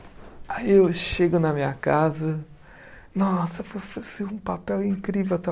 Aí eu chego na minha casa, nossa, foi vai ser um papel incrível.